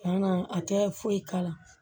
Yann'a a tɛ foyi k'a la